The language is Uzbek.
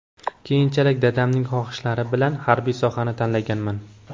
Keyinchalik dadamning xohishlari bilan harbiy sohani tanlaganman.